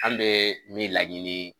An' bee min laɲini